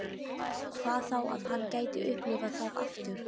Hvað þá að hann gæti upplifað það aftur.